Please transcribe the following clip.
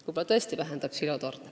Võib-olla tõesti vähendab see ka silotorne.